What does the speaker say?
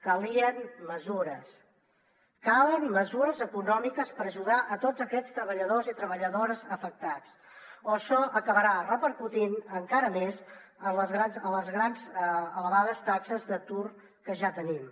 calien mesures calen mesures econòmiques per ajudar tots aquests treballadors i treballadores afectats o això acabarà repercutint encara més en les elevades taxes d’atur que ja tenim